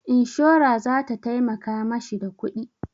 Inshora za ta taimaka ma shi da kuɗi.